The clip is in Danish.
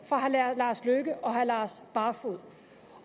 fra herre lars løkke rasmussen og herre lars barfoed